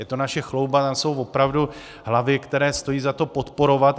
Je to naše chlouba, tam jsou opravdu hlavy, které stojí za to podporovat.